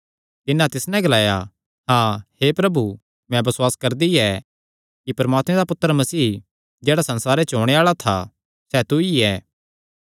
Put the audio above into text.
तिन्नै तिस नैं ग्लाया हाँ हे प्रभु मैं बसुआस करदी कि परमात्मे दा पुत्तर मसीह जेह्ड़ा संसारे च ओणे आल़ा था सैह़ तू ई ऐ